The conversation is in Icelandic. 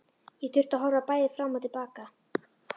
Ég þurfti að horfa bæði fram og til baka.